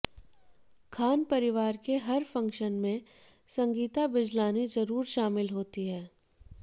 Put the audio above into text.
खान परिवार के हर फंक्शन में संगीता बिजलानी जरूर शामिल होती हैं